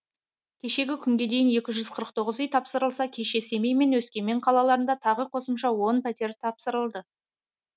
кешегі күнге дейін екі жүз қырық тоғыз үй тапсырылса кеше семей мен өскемен қалаларында тағы қосымша он пәтер тапсырылды